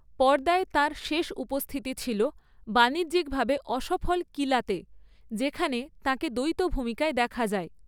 পর্দায় তার শেষ উপস্থিতি ছিল বাণিজ্যিকভাবে অসফল কিলাতে, যেখানে তাকে দ্বৈত ভূমিকায় দেখা যায়।